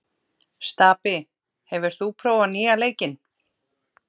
Stapi, hefur þú prófað nýja leikinn?